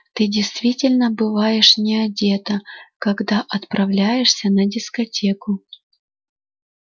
ты действительно бываешь не одета когда отправляешься на дискотеку